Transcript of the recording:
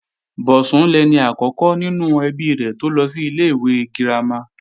Bọ̀sún lẹni àkọ́kọ́ nínú ẹbí rẹ̀ tó lọ sí ilé-ìwé girama